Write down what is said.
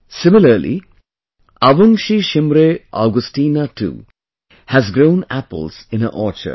Similarly, Avungshee Shimre Augasteena too has grown apples in her orchard